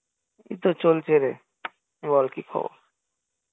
এই তো চলছে রে বল কি খবর?